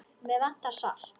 Mig vantar salt.